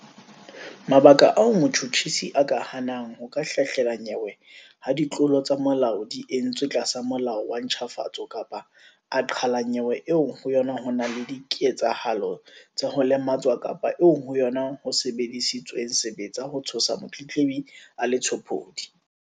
Mabaka ao motjhutjhisi a ka hanang ho ka hlahlela nyewe ha ditlolo tsa molao di entswe tlasa Molao wa ntjhafatso kapa a qhala nyewe eo ho yona ho nang le dike-tsahalo tsa ho lematswa kapa eo ho yona ho sebedisitsweng sebetsa ho tshosa motletlebi a le tshopodi.